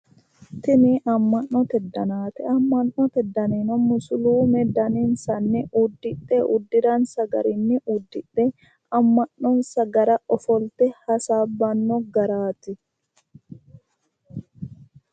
Tini amma'note danaati. Amma'note danino musiliime daninsanni uddidhe uddiransa garinni uddidhe amma'nonsa gara ofolte hasaabbanno garaati.